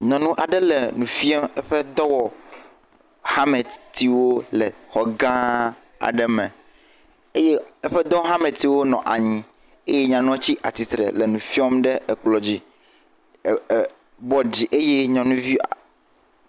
Nyɔnu aɖe le nu fiam eƒe dɔwɔhametiwo le xɔ gã aɖe me eye eƒe dɔhametiwo nɔ anyieye nyɔnua ti tsitre le nu fiam ɖe ekplɔ dzi eh eh eh… bɔdi dzi eye nyɔnuvia…..